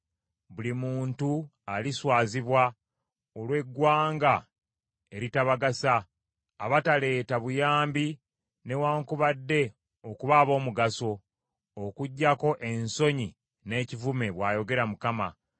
buli muntu aliswazibwa olw’eggwanga eritabagasa, abataleeta buyambi newaakubadde okuba ab’omugaso, okuggyako ensonyi n’ekivume,” bw’ayogera Mukama .